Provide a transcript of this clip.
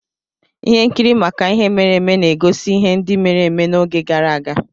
Ihe nkiri maka ihe mere eme na-egosi ihe ndị mere eme n'oge gara aga.